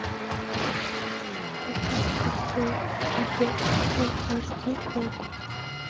поставь ковбой бибоп фул аш ди окко